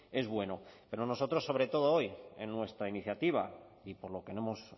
es bueno pero nosotros sobre todo hoy en nuestra iniciativa y por lo que no hemos